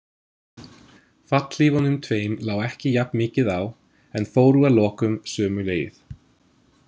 Fallhlífunum tveim lá ekki jafn mikið á en fóru að lokum sömu leið.